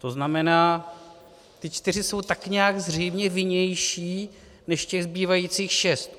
To znamená, ti čtyři jsou tak nějak zřejmě vinnější než těch zbývajících šest.